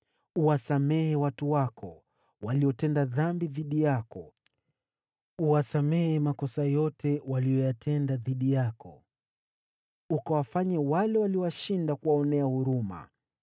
Uwasamehe watu wako, waliotenda dhambi dhidi yako; uwasamehe makosa yote waliyoyatenda dhidi yako, ukawafanye wale waliowashinda kuwaonea huruma;